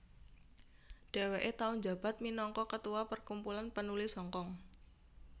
Dheweke tau njabat minangka ketua Perkumpulan Penulis Hongkong